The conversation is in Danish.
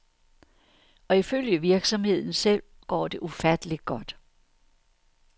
Og ifølge virksomheden selv går det ufatteligt godt.